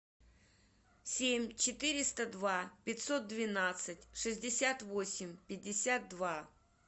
семь четыреста два пятьсот двенадцать шестьдесят восемь пятьдесят два